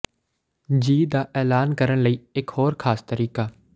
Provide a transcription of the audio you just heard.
ਜੀ ਦਾ ਐਲਾਨ ਕਰਨ ਲਈ ਇਕ ਹੋਰ ਖਾਸ ਤਰੀਕਾ